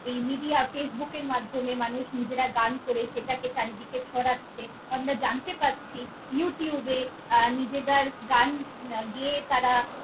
এই media, facebook এর মাধ্যমে মানুষ নিজেরা গান করে সেটাকে চারিদিকে ছড়াচ্ছে। আমরা জানতে পারছি, youtube এ আহ নিজেরা গান গে~ গেয়ে তারা।